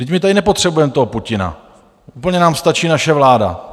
Vždyť my tady nepotřebujeme toho Putina, úplně nám stačí naše vláda.